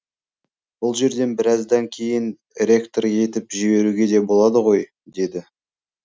бұл жерден біраздан кейін ректор етіп жіберуге де болады ғой деді